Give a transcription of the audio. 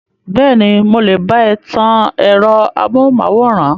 Bẹ́ẹ̀ni, mo lè bá ẹ tan ẹ̀rọ amóhùnmáwòrán.